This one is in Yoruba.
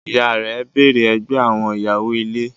Ìyá rẹ̀ bẹ̀rẹ ẹgbẹ́ àwọn ìyàwó-ilé.